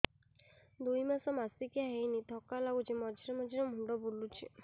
ଦୁଇ ମାସ ମାସିକିଆ ହେଇନି ଥକା ଲାଗୁଚି ମଝିରେ ମଝିରେ ମୁଣ୍ଡ ବୁଲୁଛି